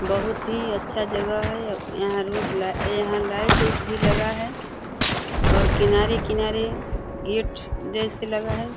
बहुत ही अच्छा जगह है। यहाँ रोड लाइ यहाँ लाइट इट भी लगा है और किनारे किनारे गेट जैसे लगा है।